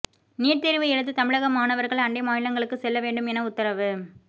NEET தேர்வு எழுத தமிழக மாணவர்கள் அண்டை மாநிலங்களுக்கு செல்ல வேண்டும் என உத்தரவு